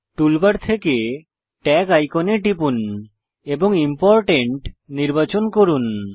toolbar থেকে tag আইকনে টিপুন এবং ইম্পোর্টেন্ট নির্বাচন করুন